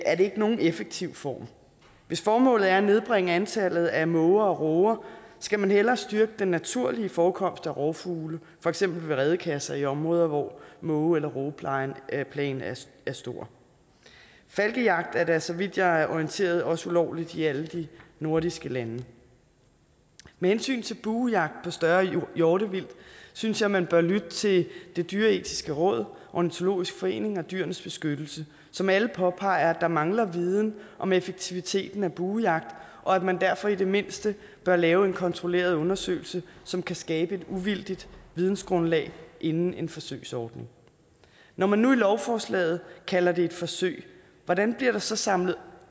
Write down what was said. er det ikke nogen effektiv form hvis formålet er at nedbringe antallet af måger og råger skal man hellere styrke den naturlige forekomst af rovfugle for eksempel ved redekasser i områder hvor måge eller rågeplagen er stor falkejagt er da så vidt jeg er orienteret også ulovligt i alle de nordiske lande med hensyn til buejagt på større hjortevildt synes jeg man bør lytte til det dyreetiske råd ornitologisk forening og dyrenes beskyttelse som alle påpeger at der mangler viden om effektiviteten af buejagt og at man derfor i det mindste bør lave en kontrolleret undersøgelse som kan skabe et uvildigt vidensgrundlag inden en forsøgsordning når man nu i lovforslaget kalder det et forsøg hvordan bliver der så samlet